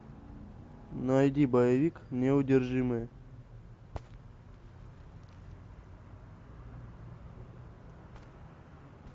найди боевик неудержимые